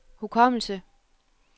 hukommelse